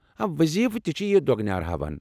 وضیفہٕ تہِ چِھ یہِ دۄگنیار ہاوان ۔